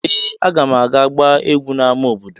Ee! Aga m aga gbaa egwú n’ámá obodo.